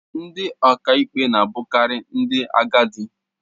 Ndị ọkàikpe na-abụkarị ndị agadi